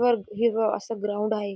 हिरवं असं ग्राउंड आहे.